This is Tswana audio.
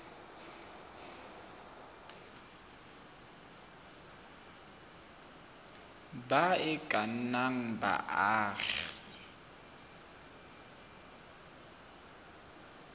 ba e ka nnang baagi